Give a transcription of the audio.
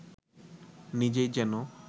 নিজেই যেন